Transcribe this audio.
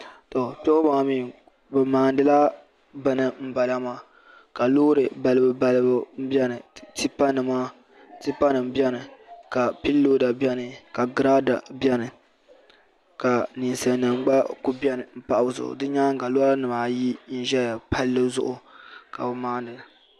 Tɔ kpe ŋɔ maa mi bi maandila bini n bala maa ka loori balibu balibu n bɛni tipa nima bɛni ka piilooda bɛni ka giraada bɛni ka ninsali nima gba ku bɛni n pahi bi zuɣu di nyaanga loori nima ayi n ʒɛya palli zuɣu ka maanili.